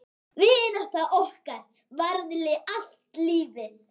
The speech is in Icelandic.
Vinátta okkar varaði allt lífið.